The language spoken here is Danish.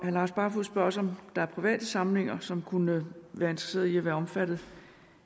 lars barfoed spørger også om der er private samlinger som kunne være interesseret i at være omfattet